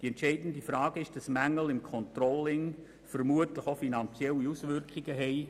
Der entscheidende Punkt ist vielmehr, dass die Mängel im Controlling vermutlich auch finanzielle Auswirkungen haben.